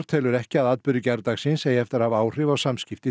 telur ekki að atburðir gærdagsins eigi eftir að hafa áhrif á samskipti